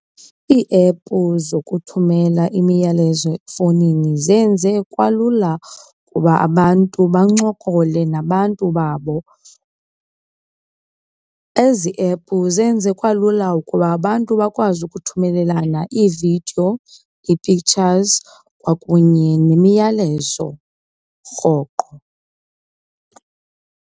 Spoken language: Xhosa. Iiepu zokuthumela imiyalezo efowunini zenze kwalula ukuba abantu bancokole nabantu babo. Ezi epu zenze kwalula ukuba abantu bakwazi ukuthumelelana iividiyo, ii-pictures kwakunye nemiyalezo rhoqo.